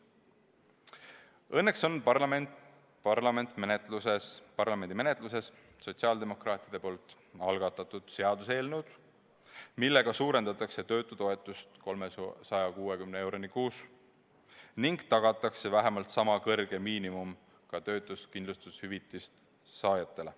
Õnneks on parlamendi menetluses sotsiaaldemokraatide algatatud seaduseelnõud, millega suurendatakse töötutoetust 360 euroni kuus ning tagatakse vähemalt sama suur miinimum ka töötuskindlustushüvitise saajatele.